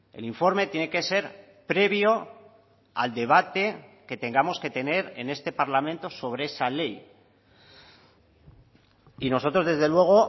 el informe tiene que ser previo al debate que tengamos que tener en este parlamento sobre esa ley y nosotros desde luego